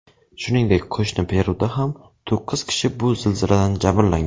Shuningdek, qo‘shni Peruda ham to‘qqiz kishi bu zilziladan jabrlangan.